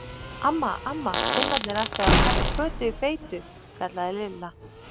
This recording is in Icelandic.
Amma, amma, Finnarnir ætluðu að taka Kötu í beitu kallaði Lilla.